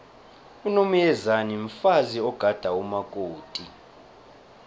unomyezane mfazi ogada umakoti